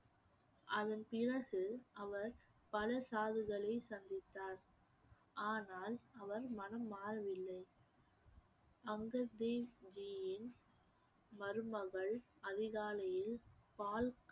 அதன் பிறகு அவர் பல சாதுகளை சந்தித்தார் ஆனால் அவர் மனம் மாறவில்லை அங்கத் தேவ் ஜியின் மருமகள் அதிகாலையில் பால்